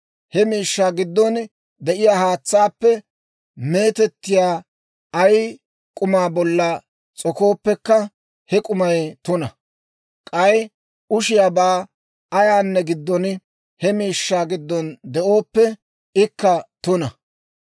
He miishshaa giddon de'iyaa haatsaappe meetettiyaa ay k'uma bolla s'okooppekka, he k'umay tuna; k'ay ushiyaabaa ayaanne giddo, he miishshaa giddon de'ooppe, ikka tuna.